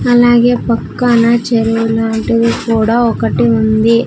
అలాగే పక్కన చెరువులాంటిది కూడా ఒకటి ఉంది.